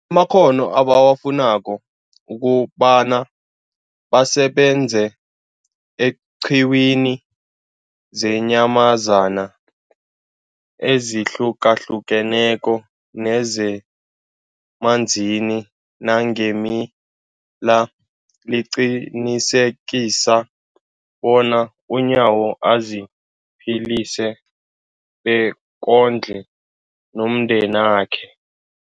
makghono ebawafunako ukobana basebenze eenqiwini zeenyamazana ezihlukahlukeneko nezemanzini nangeemila, liqinisekisa bona uNyawo aziphilise bekondle nomndenakhe.